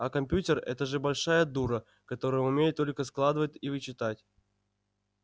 а компьютер это же большая дура которая умеет только складывать и вычитать